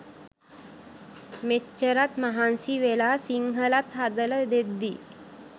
මෙච්චරත් මහන්සි වෙලා සිංහලත් හදල දෙද්දි